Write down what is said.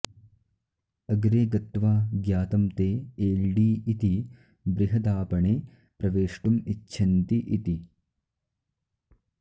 अग्रे गत्वा ज्ञातं ते एल्डी इति बृहदापणे प्रवेष्टुम् इच्छन्ति इति